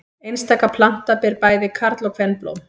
Einstaka planta ber bæði karl- og kvenblóm.